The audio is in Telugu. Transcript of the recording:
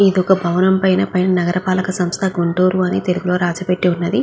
ఇది ఒక భవనం పైన నగర పలక సంస్థ గుంటూరు అని తెలుగు లో రాసిపెట్టి వుంది.